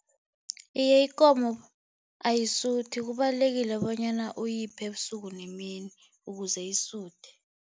Iye, ikomo ayisuthi. Kubalulekile bonyana uyiphe ebusuku nemini ukuze isuthe.